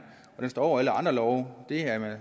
den står over alle andre love det